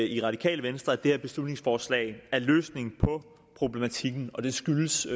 i radikale venstre at det her beslutningsforslag er løsningen på problematikken og det skyldes